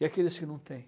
E aqueles que não têm?